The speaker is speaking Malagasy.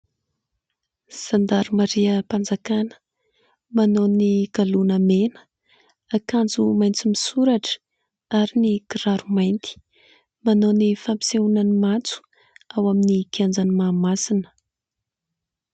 Zandamariam-panjakana, manao ny galona mena, akanjo maitso misoratra ary ny kiraro mainty. Manao ny fampisehoana ny maitso ao amin'ny kianjan'i Mahamasina.